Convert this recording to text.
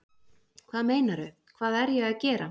Hvað meinarðu, hvað er ég að gera?